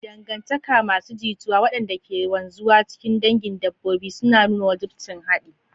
Dangantaka masu jituwa waɗanda ke wanzuwa cikin dangin dabbobi suna nuna wajibcin haɗi.